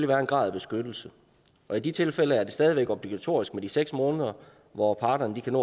være en grad af beskyttelse og i de tilfælde er det stadig væk obligatorisk med de seks måneder hvor parterne kan